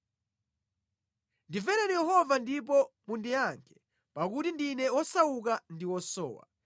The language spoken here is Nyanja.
Ndimvereni Yehova ndipo mundiyankhe, pakuti ndine wosauka ndi wosowa.